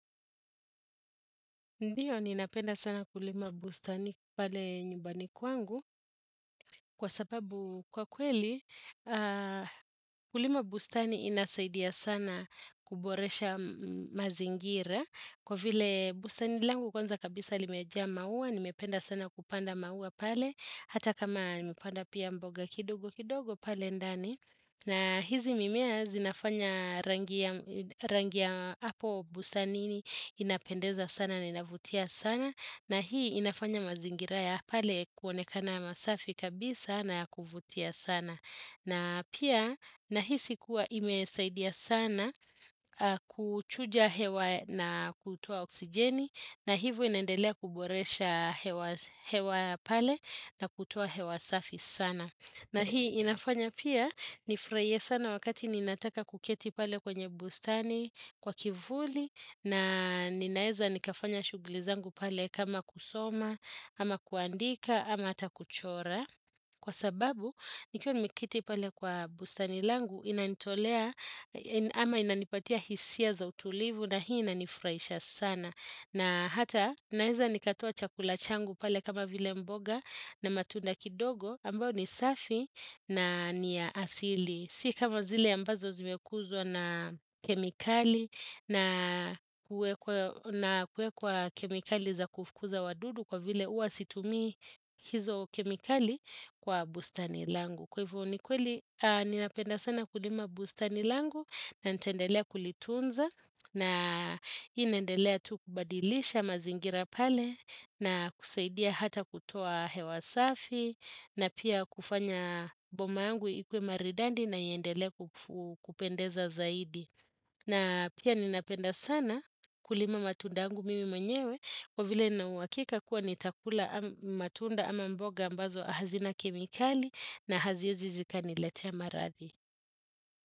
Ndiyo ni napenda sana kulima bustani pale nyubani kwangu kwa sababu kwa kweli kulima bustani inasaidia sana kuboresha mazingira kwa vile bustani langu kwanza kabisa limeja maua ni mependa sana kupanda maua pale hata kama ni mepanda pia mboga kidogo kidogo pale ndani. Na hizi mimea zinafanya rangia hapo busanini inapendeza sana na inavutia sana na hii inafanya mazingiraya pale kuonekana masafi kabisa na kuvutia sana na pia na hii sikuwa imesaidia sana kuchuja hewa na kutuwa oksijeni na hivu inendelea kuboresha hewa pale na kutuwa hewa safi sana na hii inafanya pia nifraie sana wakati ninataka kuketi pale kwenye bustani kwa kivuli na ninaeza nikafanya shuglizangu pale kama kusoma ama kuandika ama hata kuchora. Kwa sababu nikio nimikiti pale kwa bustani langu inanitolea ama inanipatia hisia za utulivu na hii inanifraisha sana. Na hata naiza nikatoa chakula changu pale kama vile mboga na matunda kidogo ambao ni safi na ni asili. Sika mazile ambazo zimekuzwa na kemikali na kuwekwa kemikali za kufukuza wadudu kwa vile uasitumi hizo kemikali kwa bustani langu. Kwa hivyo ni kweli, ni napenda sana kulima bustani langu na ntendelea kulitunza na inendelea tukubadilisha mazingira pale na kusaidia hata kutoa hewasafi na pia kufanya boma angu ikuwe maridandi na yendele kupendeza zaidi. Na pia ninapenda sana kulima matunda angu mimi mwenyewe kovile na uwakika kuwa nitakula matunda ama mboga ambazo ahazina kemikali na hazia zizika niletea marathi.